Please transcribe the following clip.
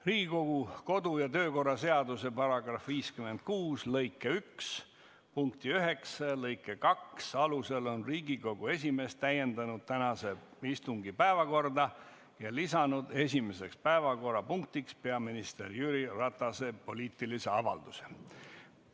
Riigikogu kodu- ja töökorra seaduse § 56 lõike 1 punkti 9 ja lõike 2 alusel on Riigikogu esimees täiendanud tänase istungi päevakorda ja lisanud esimeseks päevakorrapunktiks peaminister Jüri Ratase poliitilise avalduse.